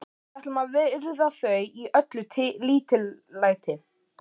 Við ætlum að virða þau í öllu lítillæti.